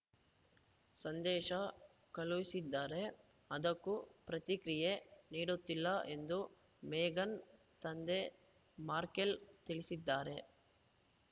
ಸಂದೇಶ ಕಳುಹಿಸಿದರೆ ಅದಕ್ಕೂ ಪ್ರತಿಕ್ರಿಯೆ ನೀಡುತ್ತಿಲ್ಲ ಎಂದು ಮೇಘನ್‌ ತಂದೆ ಮಾರ್ಕೆಲ್‌ ತಿಳಿಸಿದ್ದಾರೆ